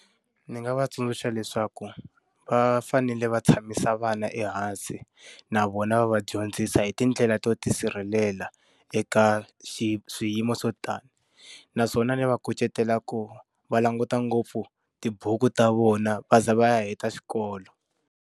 Ndzi nga va tsundzuxa leswaku, va fanele va tshamisa vana ehansi na vona va va dyondzisa hi tindlela to tisirhelela eka swiyimo swo tani. Naswona ndzi va kucetela ku va languta ngopfu tibuku ta vona va za va ya heta xikolo.